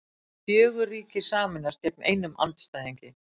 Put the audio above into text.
Fjögur ríki sameinast gegn einum andstæðingi